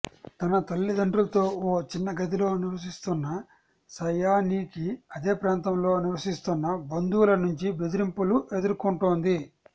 తన తల్లిదండ్రులతో ఓ చిన్న గదిలో నివసిస్తోన్న సయానీకి అదే ప్రాంతంలో నివసిస్తోన్న బంధువుల నుంచి బెదిరింపులు ఎదుర్కొంటోంది